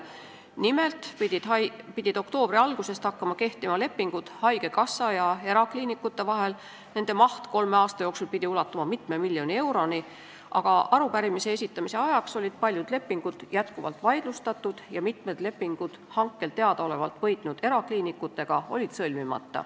Nimelt pidid oktoobri algusest hakkama haigekassa ja erakliinikute vahel kehtima lepingud, mille maht pidi kolme aasta jooksul ulatuma mitme miljoni euroni, aga arupärimise esitamise ajaks olid paljud lepingud jätkuvalt vaidlustatud ja sõlmimata oli mitu lepingut hankel teadaolevalt võitnud erakliinikutega.